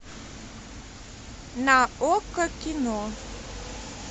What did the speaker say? на окко кино